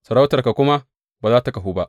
Sarautarka kuma ba za tă kahu ba.